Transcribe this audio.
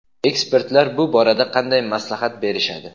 Ekspertlar bu borada qanday maslahat berishadi?.